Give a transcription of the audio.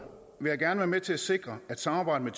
gerne være med til at sikre at samarbejdet